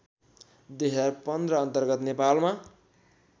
२०१५ अन्तर्गत नेपालमा